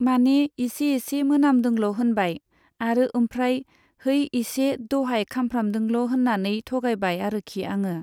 माने इसे इसे मोनामदोंल' होनबाय आरो ओमफ्राय है इसे दहाय खामफ्रामदोंल' होननानै थगायबाय आरोखि आङो।